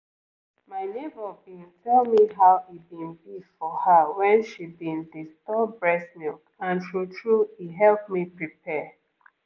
my neighbor been tell me how e been be for her when she been dey store breast milk and true-true e help me prepare